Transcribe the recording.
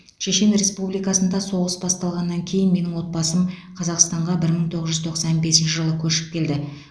шешен республикасында соғыс басталғаннан кейін менің отбасым қазақстанға бір мың тоғыз жүз тоқсан бесінші жылы көшіп келді